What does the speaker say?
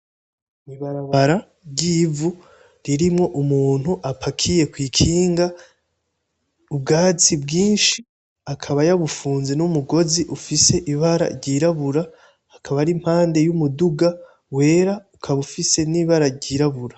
Ibarabara ry’ivu ririmwo umuntu apakiye kw’ikinga ubwatsi bwinshi akaba yabufunze n’umugozi ufise ibara ryirabura akaba arimpande y’umuduga wera ukaba ufise n’ibara ryirabura.